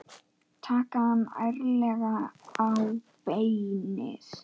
Taka hann ærlega á beinið.